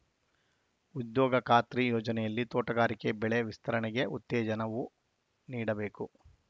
ಉದ್ಯೋಗ ಖಾತ್ರಿ ಯೋಜನೆಯಲ್ಲಿ ತೋಟಗಾರಿಕೆ ಬೆಳೆ ವಿಸ್ತರಣೆಗೆ ಉತ್ತೇಜನವು ನೀಡಬೇಕು